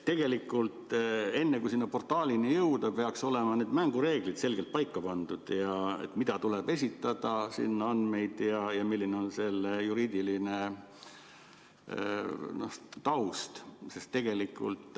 Tegelikult, enne kui selle portaalini jõuda, peaks olema mängureeglid selgelt paika pandud, et mida tuleb sinna esitada, mis andmeid, ja milline on juriidiline taust.